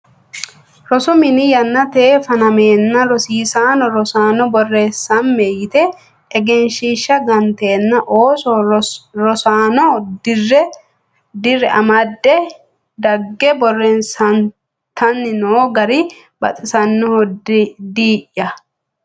Rosu mini yannate fanamenna rosiisano rosaano borreessame yite egenshiishsha gantenna ooso rosaano dira amade dagge borreessattanni no gari baxisanoho diyaa.